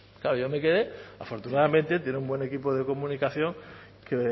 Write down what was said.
claro yo me quedé afortunadamente tiene un buen equipo de comunicación que